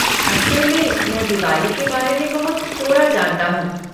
असल में, मैं दिवाली के बारे में बहुत थोड़ा जानता हूँ।